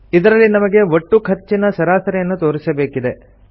ಇದರಲ್ಲಿ ನಮಗೆ ಒಟ್ಟು ಖರ್ಚಿನ ಸರಾಸರಿಯನ್ನು ತೋರಿಸಬೇಕಿದೆ